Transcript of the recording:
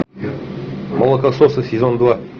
молокососы сезон два